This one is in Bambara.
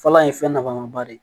Fɔlɔ ye fɛn nafama ba de ye